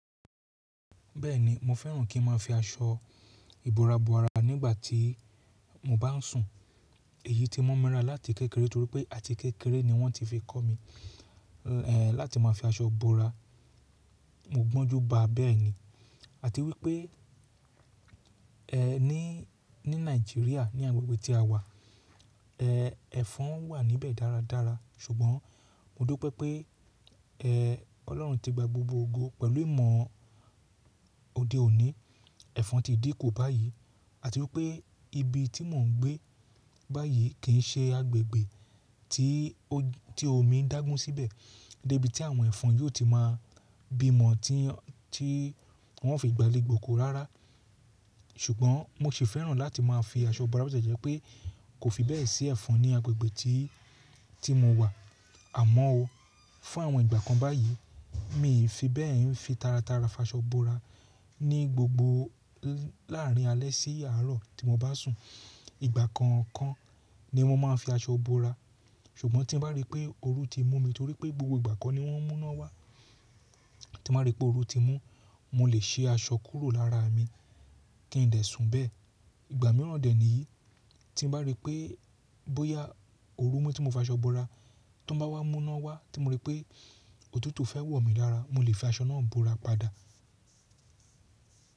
Bẹ́ẹ̀ni, mo fẹ́ràn kí n máa fi aṣọ ìbora bora nígbà tí mo bá ń sùn. Èyí tí mo mi lara láti kékeré torí pé àti kékeré ni wọ́n ti fi kọ́ mi, ẹ́, láti máa fi aṣọ bora. Mo gbọ́njú ba bẹ́ẹ̀ ni. Àti wípé, ẹ́, ní, ní Nàìjíríà ní agbègbè tí a wà, ẹ́, ẹ̀fọn wà níbẹ̀ dáradára. Ṣùgbọ́n mo dupé pé, ẹ́, Ọlọ́run ti gba gbogbo ogo pẹ̀lú ìmọ̀ òde òní. Ẹ̀fọn ti dínkù báyìí. Àti wípé ibi tí mò ń gbé báyìí kì í ṣe agbègbè tí omi ń dágun síbẹ̀ dé ibi tí àwọn ẹ̀fọn yóò ti máa bímọ tí wọ́n ó fi gbálè gbòkò rárá. Ṣùgbọ́n mo sì fẹ́ràn láti máa fi aṣọ bora bó ti jẹ́ pé kò fi bẹ́ẹ̀ sí ẹ̀fọn ní agbègbè tí, tí mo wà. Àmọ́ o, fún àwọn ìgbà kan báyìí, mi ì fi bẹ́ẹ̀ ń fi taratara faṣọ bora ní gbogbo láàrin alẹ́ sí àárọ̀ tí mo bá sùn. Ìgbà kọ̀ọ̀kan ni mo máa ń fi aṣọ bora. Ṣùgbọ́n tí n bá rí pé oru ti mú mi torí pé gbogbo ìgbà ko ni wọ́n múná wá. Tí bá rí pé oru ti mú, mo lè ṣi aṣọ kúrò lára mi kí n dẹ̀ sùn bẹ́ẹ̀. Ìgbà mìíràn dẹ̀ níyí, tí n bá rí pé bóyá oru mu tí mo faṣọ bora tan bá wá mú ná wá tí mo rí pé òtútù fẹ́ wọ̀ mí lára, mo lè fi aṣọ náà bora padà.